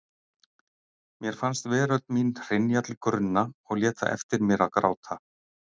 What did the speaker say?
Mér fannst veröld mín hrynja til grunna og lét það eftir mér að gráta.